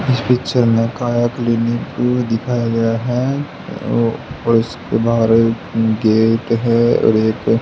इस पिक्चर में काया क्लिनिक को दिखाया गया है ओ और उसके बाहर में गेट हैं और एक--